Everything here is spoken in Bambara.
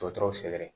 Dɔgɔtɔrɔw segɛrɛ